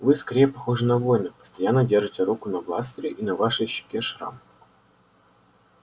вы скорее похожи на воина постоянно держите руку на бластере и на вашей щеке шрам